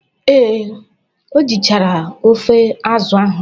Ee, o jichara ofe azụ ahụ.